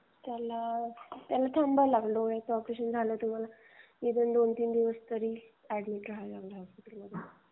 त्याला थांबावे लागेल. तुम्हाला डोळ्यांचं ऑपरेशन झाल्यावर दोनतीन दिवस तरी हॉस्पिटल मध्ये अॅडमिट व्हावं लागेल.